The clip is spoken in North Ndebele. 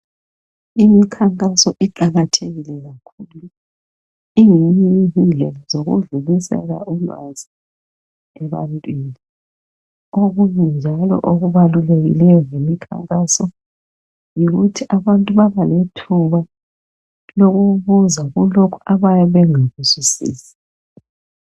Imikhankaso iqakathekile kakhulu ingeyinye indlela zokudlulisela ulwazi ebantwini. Okunye njalo okubalulekilyo ngemikhankaso yikuthi abantu baba lethuba lokubuza kulokhu abayabe bengakuzwisisi.